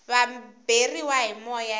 va beriwa hi moya se